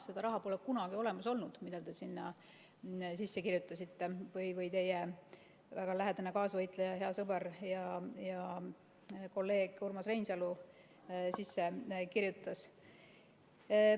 Seda raha pole kunagi olemas olnud, mida teie sinna sisse kirjutasite või teie väga lähedane kaasvõitleja, hea sõber ja kolleeg Urmas Reinsalu sinna sisse kirjutas.